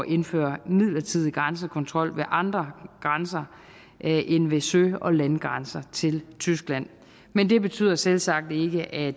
indføre midlertidig grænsekontrol ved andre grænser end ved sø og landegrænser til tyskland men det betyder selvsagt ikke at